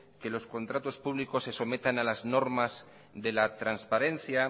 que los contratos públicos se sometan a las normas de la transparencia